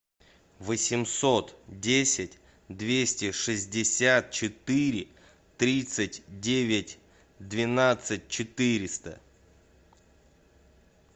восемьсот десять двести шестьдесят четыре тридцать девять двенадцать четыреста